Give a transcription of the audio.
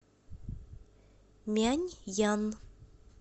мяньян